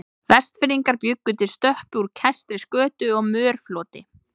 Vestfirðingar bjuggu til stöppu úr kæstri skötu og mörfloti.